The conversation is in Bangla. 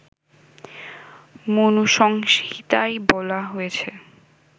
মনুসংহিতায় বলা হয়েছে